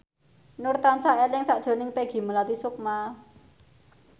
Nur tansah eling sakjroning Peggy Melati Sukma